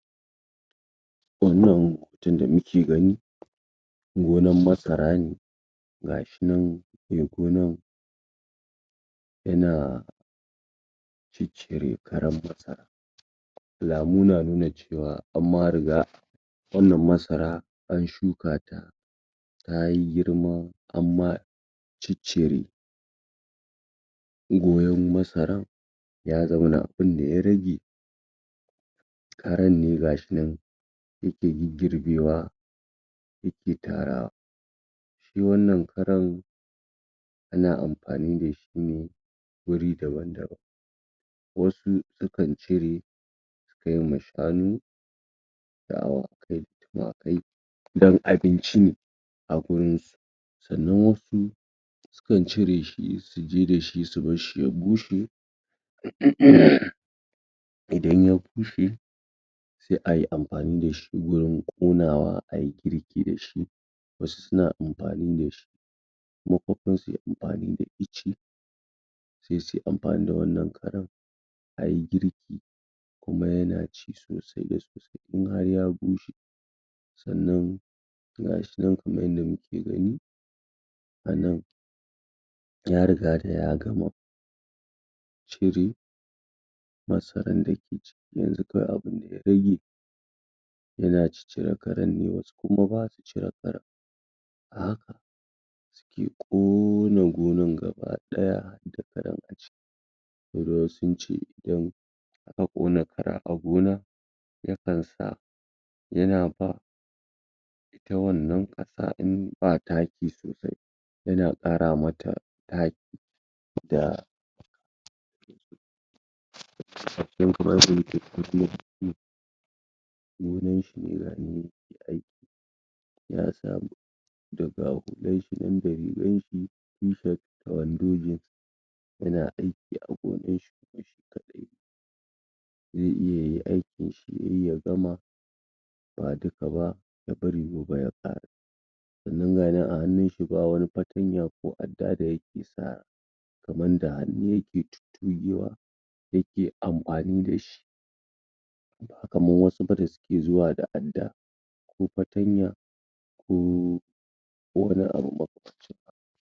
wannan hoton da muke gani noman masara ne gashinan me gonan yana ciccire karan masara alamu na nuna cewa an ma riga wannan masara an shuka ta yayi girma anma ciccire gonan masaran ya zauna inda ya rage karan ne gasu nan yake giggirbewa yake tarawa shi wannan karan ana amfani da shi ne wuri daban daban wasu akan cire ko mai shanu da awakai da tumakai don abinci ne a gurin sannan wasu sukan cire shi su je da shi su barshi ya bushe?? idan ya bushe sai ayi amfani da shi wurin ƙonawa ayi girki da shi wasu suna amfani da shi makofan suyi amfani da ice sai suyi amfani da wannan karan ayi girki kuma yana ci sosai kuma yafi sannan?? anan ya riga da ya gama cire masaran da ke jiki yanzu kawai abunda ya rage yana cire karan ne wasu kumaba su cire karan? ya ƙona gonan gaba ɗaya wurin tsincewan a ƙona kara a gonan nufin sa yana fa na wannan ƙasa in ba taki sosai ana ƙara mata taki ba?? noman shi yana da aiki na samu dan ga hular shi nan da rigar shi tufess da wando jins yana aiki a zaune zai iya yayi aikin shi yayi ya gama ba duka ba ya bari gobe ya sa yananan a hannun shi ba wani fatanya ko adda da yake sawa kaman da hannu yake tugewa yake amfani da ba kaman wasu ba da suke zuwa da adda ko fatanya ko wani abu maka